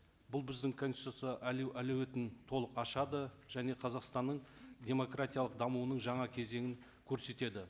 бұл біздің конституция әлеуетін толық ашады және қазақстанның демократиялық дамуының жаңа кезеңін көрсетеді